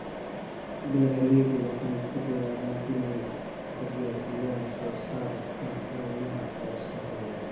Beeraleydu waxay ku dadaalaan inay xaqiijiyaan soosaarka caanaha oo sarreeya.